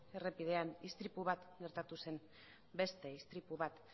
errepidean istripu bat gertatu zen beste istripu bat